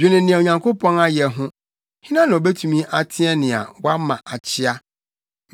Dwene nea Onyankopɔn ayɛ ho: Hena na obetumi ateɛ nea wɔama akyea?